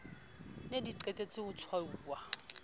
ne di qetetse ho tshwauwa